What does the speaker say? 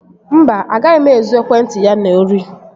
Mba, agaghị m ezu ekwentị ya n'ori